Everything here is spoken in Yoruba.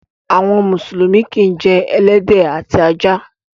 Àwọn mùsùlùmí kìí jẹ ẹlẹ́dẹ̀ àti ajá.